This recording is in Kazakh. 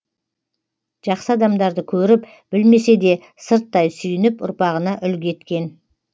жақсы адамдарды көріп білмесе де сырттай сүйініп ұрпағына үлгі еткен